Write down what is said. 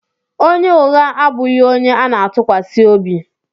Onye ụgha abụghị onye ana-atụkwasị obi.